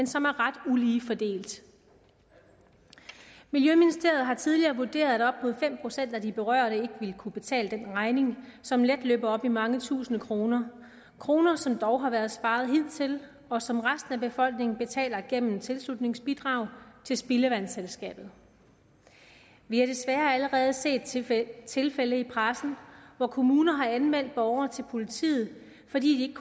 som er ret ulige fordelt miljøministeriet har tidligere vurderet at op mod fem procent af de berørte ikke vil kunne betale den regning som let løber op i mange tusinde kroner kroner som dog har været sparet hidtil og som resten af befolkningen betaler gennem tilslutningsbidrag til spildevandsselskabet vi har desværre allerede set tilfælde tilfælde i pressen hvor kommuner har anmeldt borgere til politiet fordi de